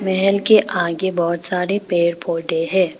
महल के आगे बहुत सारे पेड़ पौधे हैं।